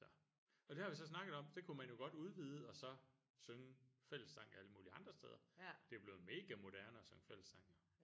Så og det har vi så snakket om det kunne man jo godt udvide og så synge fællessang alle mulige andre steder det er jo blevet mega moderne at synge fællessang jo